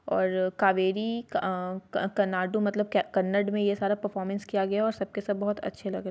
ओर कावेरी अ करनाडु मतलब कन्नड मे ये सारा परफोमन्स किया गया है| और सब के सब बोहोत अच्छे लग --